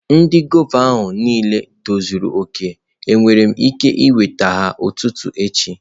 Ndị gwava niile tozuru oke, enwere m ike iweta ha n'ụtụtụ echi?